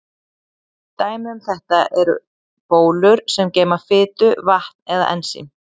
Dæmi um þetta eru bólur sem geyma fitu, vatn eða ensím.